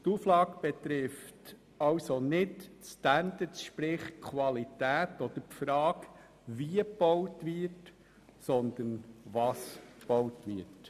Diese Auflage betrifft nicht die Standards, sprich die Qualität oder die Frage, wie gebaut wird, sondern was gebaut wird.